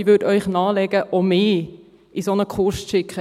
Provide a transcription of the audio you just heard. Ich würde Ihnen nahelegen, auch mich in einen solchen Kurs zu schicken.